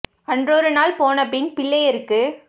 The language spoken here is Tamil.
அற்றொருநாள் போனபின்னும் பிள்ளை யர்க்கு